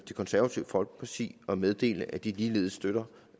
det konservative folkeparti og meddele at de ligeledes støtter